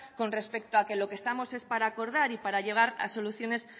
con respecto a que lo que estamos es para acordar y para llegar a soluciones